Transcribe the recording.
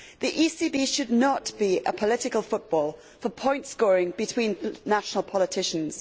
The ECB should not be a political football for point scoring between national politicians.